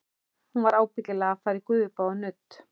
Hún var ábyggilega að fara í gufubað og nudd.